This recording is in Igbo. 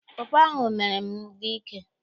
Pọpọ ahụ mere m dị ike.